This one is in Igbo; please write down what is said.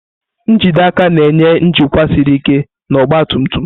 njide aka na-enye njikwa siri ike na ọgba tum tum.